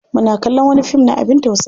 Muna kallon wani fim na abin tausayi.